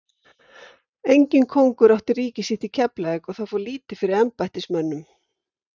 Enginn kóngur átti ríki sitt í Keflavík og það fór lítið fyrir embættismönnum.